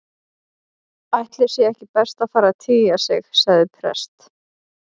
Ætli sé ekki best að fara að tygja sig- sagði prest